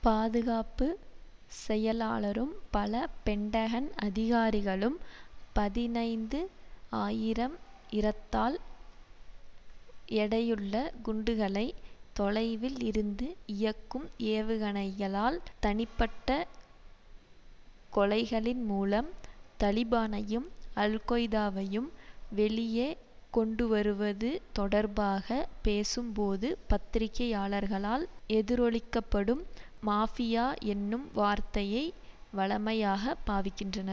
பாதுகாப்பு செயலாளரும் பல பென்டகன் அதிகாரிகளும் பதினைந்து ஆயிரம் இறத்தால் எடையுள்ள குண்டுகளை தொலைவில் இருந்து இயக்கும் ஏவுகளைகளால் தனிப்பட்ட கொலைகளின் மூலம் தலிபானையும் அல் கொய்தாவையும் வெளியை கொண்டுவருவது தொடர்பாக பேசும்போது பத்திரிகையாளர்களால் எதிரொலிக்கப்படும் மாபியா என்னும் வார்த்தையை வழமையாக பாவிக்கின்றன